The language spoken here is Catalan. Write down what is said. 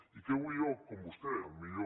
i què vull jo com vostè el millor